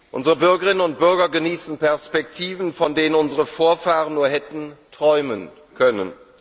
Unsere Bürgerinnen und Bürger genießen Perspektiven, von denen unsere Vorfahren nur hätten träumen können.